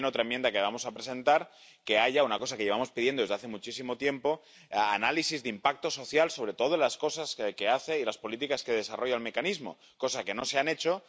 O, también, otra enmienda que vamos a presentar es que haya algo que llevamos pidiendo desde hace muchísimo tiempo análisis de impacto social, sobre todo en las cosas que hace y las políticas que desarrolla el Mecanismo, algo que no se ha hecho.